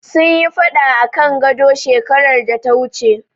Sun yi faɗa akan gado, shekarar data wuce.